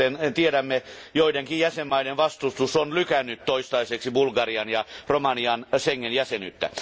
Kuten tiedämme, joidenkin jäsenvaltioiden vastustus on lykännyt toistaiseksi Bulgarian ja Romanian Schengen jäsenyyttä.